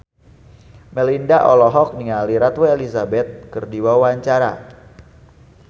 Melinda olohok ningali Ratu Elizabeth keur diwawancara